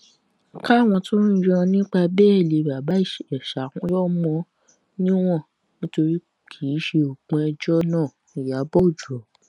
káwọn tó ń yọ nípa béèlì bàbá ìjèṣà yọ mọ níwọ̀n nítorí kì í ṣe òpin ẹjọ́ náà ìyàbọ́ òjó